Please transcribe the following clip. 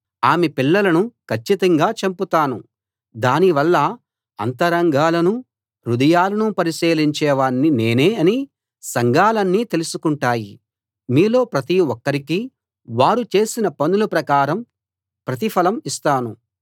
ఆమె పిల్లలను కచ్చితంగా చంపుతాను దాని వల్ల అంతరంగాలనూ హృదయాలనూ పరిశీలించేవాణ్ణి నేనే అని సంఘాలన్నీ తెలుసుకుంటాయి మీలో ప్రతి ఒక్కరికీ వారు చేసిన పనుల ప్రకారం ప్రతిఫలం ఇస్తాను